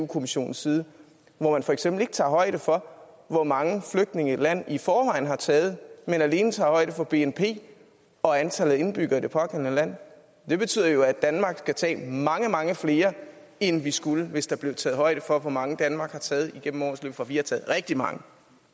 kommissionens side hvor man for eksempel ikke tager højde for hvor mange flygtninge et land i forvejen har taget men alene tager højde for bnp og antallet af indbyggere i det pågældende land det betyder jo at danmark skal tage mange mange flere end vi skulle hvis der blev taget højde for hvor mange danmark har taget igennem årenes løb for vi har taget rigtig mange